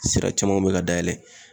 Sira camanw be ka dayɛlɛ